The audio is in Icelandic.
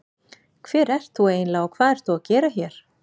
Hver ert þú eiginlega og hvað ert þú að gera hér?